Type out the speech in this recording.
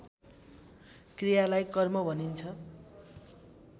क्रियालाई कर्म मानिन्छ